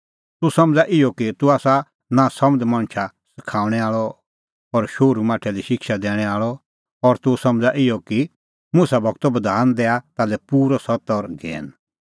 तूह समझ़ा इहअ कि तूह आसा नांसमझ़ मणछा सखाऊंणै आल़अ और शोहरूमाठै लै शिक्षा दैणैं आल़अ और तूह समझ़ा इहअ कि मुसा गूरो बधान दैआ ताल्है पूरअ सत्त और ज्ञैन